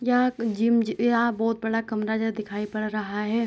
यहाँ जिम यहाँ बहुत बड़ा कमरा जैसा दिखाई पड़ रहा है।